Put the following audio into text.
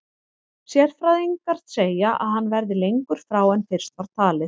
Sérfræðingar segja að hann verði lengur frá en fyrst var talið.